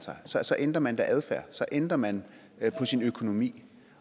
så så ændrer man da adfærd så ændrer man på sin økonomi